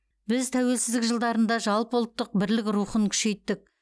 біз тәуелсіздік жылдарында жалпы ұлттық бірлік рухын күшейттік